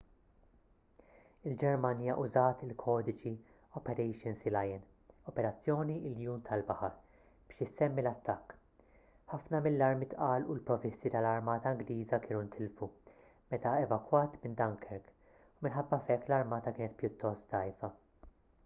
il-ġermanja użat il-kodiċi operation sealion” operazzjoni iljun tal-baħar biex isemmi l-attakk. ħafna mill-armi tqal u l-provvisti tal-armata ingliża kienu ntilfu meta evakwat minn dunkirk u minħabba f’hekk l-armata kienet pjuttost dgħajfa